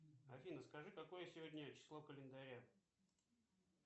афина скажи какое сегодня число календаря